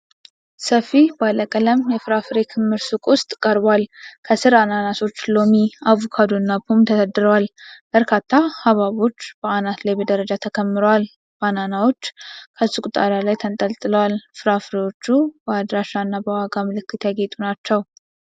ሰፊ ባለቀለም የፍራፍሬ ክምር በሱቅ ውስጥ ቀርቧል። ከስር አናናሶች፣ ሎሚ፣ አቮካዶ እና ፖም ተደርድረዋል። በርካታ ሐብሐቦች በአናት ላይ በደረጃ ተከምረዋል። ባናናዎች ከሱቁ ጣሪያ ላይ ተንጠልጥለዋል። ፍራፍሬዎቹ በአድራሻ እና በዋጋ ምልክቶች ያጌጡ ናቸው።